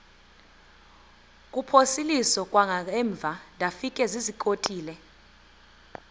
kuphosiliso kwangaemva ndafikezizikotile